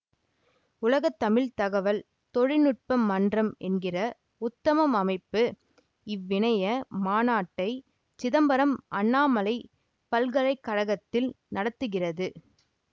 உலகத்தமிழ் தகவல் தொழில் நுட்ப மன்றம் என்கிற உத்தமம் அமைப்பு இவ்விணைய மாநாட்டை சிதம்பரம் அண்ணாமலை பல்கலை கழகத்தில் நடத்துகிறது